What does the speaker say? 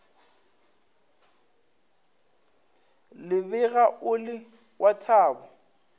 lebega o le wa thabo